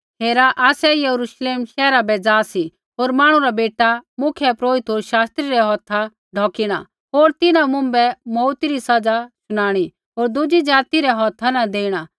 हेरा आसै यरूश्लेम शैहरा बै जा सी होर मांहणु रा बेटा मुख्यपुरोहिता होर शास्त्री रै हौथा ढौकिणा होर तिन्हां मुँभै मौऊती री सज़ा शुनाणी होर दुज़ी ज़ाति रै हौथा न देणा